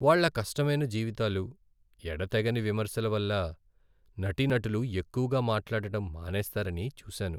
వాళ్ళ కష్టమైన జీవితాలు, ఎడతెగని విమర్శల వల్ల నటీనటులు ఎక్కువగా మాట్లాడటం మానేస్తారని చూసాను.